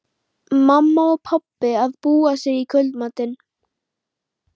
Pabbi og mamma að búa sig í kvöldmatinn.